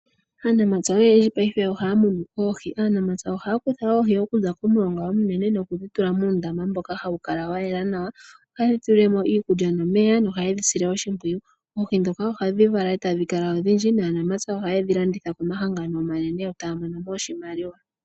Aanamapya oyendji paife oha ya munu oohi. Aanamapya oha ya kutha oohi okuza komulonga omunene, noku dhi tula muundama mboka ha wu kala wa yela nawa. Oha ye dhi tulile mo iikulya nomeya, noha ye dhi sile oshimpwiyu. Oohi ndhoka oha dhi vala eta dhi kala odhindji, naanamapya oha ye dhi landitha, komahangano omanene eta ya mono oshimaliwa.